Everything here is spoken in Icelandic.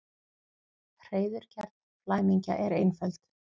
Hreiðurgerð flæmingja er einföld.